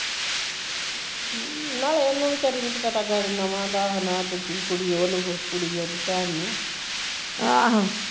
ਨਾਲੇ ਓਹਨੂ ਵਿਚਾਰੀ ਨੂੰ ਕੀ ਪਤਾਗਾ ਏਹ ਨੁਹਾ ਦਾ ਤੇ ਨਾ ਓਹ ਦੂਜੀ ਕੁੜੀ ਓਹਨੂ ਓਹਦੀ ਭੈਣ ਨੂ